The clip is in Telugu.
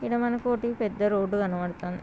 ఇడా మన కోటి పెద్ద రోడ్ కనపడుతోంది.